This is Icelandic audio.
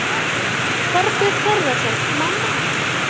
Þorbjörn Þórðarson: Mamma?